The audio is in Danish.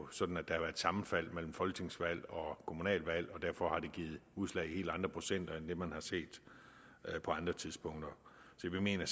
sådan at der har været sammenfald mellem folketingsvalg og kommunalvalg og derfor har det givet udslag i helt andre procenter end det man har set på andre tidspunkter så vi mener